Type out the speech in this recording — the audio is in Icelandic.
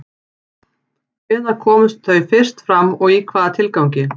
Hvenær komu þau fyrst fram og í hvaða tilgangi?